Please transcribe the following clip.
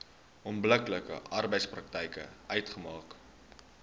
onbillike arbeidspraktyk uitmaak